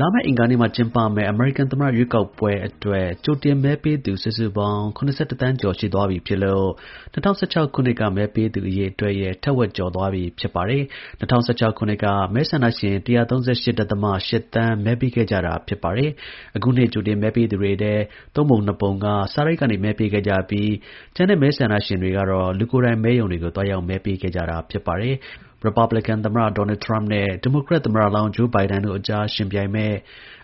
လာမယ့် အင်္ဂါနေ့မှာ ကျင်းပမယ့် အမေရိကန် သမ္မတရွေးကောက်ပွဲအတွက် ကြိုတင်မဲပေးပြီးသူ စုစုပေါင်း ၇၁ သန်းကျော် ရှိသွားပြီဖြစ်လို့ ၂၀၁၆ ခုနှစ်က မဲပေးသူ အရေအတွက်ရဲ့ ထက်ဝက်ကျော်သွားပြီ ဖြစ်ပါတယ်။ ၂၀၁၆ ခုနှစ်က မဲဆန္ဒရှင် ၁၃၈.၈ သန်း မဲပေးခဲ့ကြတာပါ။ အခုနှစ် ကြိုတင်မဲပေးသူတွေထဲ သုံးပုံ နှစ်ပုံက စာတိုက်ကနေမဲပေးခဲ့ကြပြီး ကျန်တဲ့ မဲဆန္ဒရှင် တွေကတော့ လူကိုယ်တိုင် မဲရုံတွေကို သွားရောက် မဲပေးခဲ့ကြတာပါ။ ရစ်ပတ်ဘလင်ကန် သမ္မတဒေါ်နယ်ထရမ့်နဲ့ ဒီမိုကရက်သမ္မတလောင်း Joe Biden တို့အကြား ယှဉ်ပြိင်မယ့်